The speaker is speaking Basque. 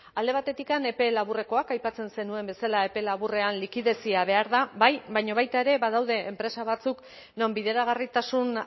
alde batetikan epe laburrekoak aipatzen zenuen bezala epe laburrean likidezia behar da bai baina baita ere badaude enpresa batzuk non bideragarritasun